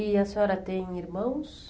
E a senhora tem irmãos?